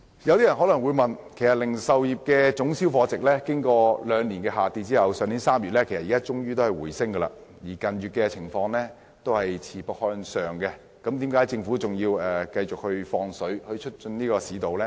有些人提出疑問，零售業的總銷貨值經過兩年下滑後，去年3月終於回升，近月更是持續向上，那麼政府為何仍繼續"放水"以促進市道呢？